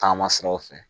Taama siraw fɛ